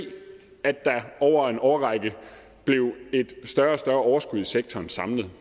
at der over en årrække blev et større og større overskud i sektoren samlet